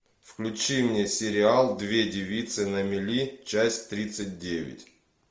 включи мне сериал две девицы на мели часть тридцать девять